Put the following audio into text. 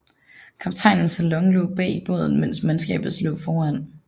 Kaptajnens salon lå bag i båden mens mandskabets lå foran